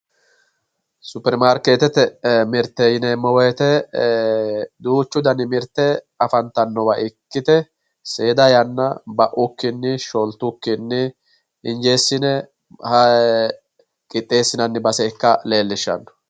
supperimarkeetete mirte yineemo woyte duuchu dani mirte afantannowa ikkite seeda yanna ba'ukkinni sholtukkinni injeessine qixxeessinanni base ikka leellishshanno.